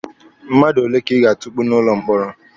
Mmadụ ole ka ị ga-atukpu n'ụlọ mkpọrọ?